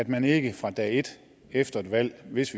man ikke fra dag et efter et valg hvis